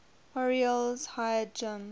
orioles hired jim